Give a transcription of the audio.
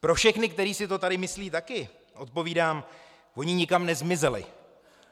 Pro všechny, kteří si to tady myslí taky, odpovídám: Oni nikam nezmizeli.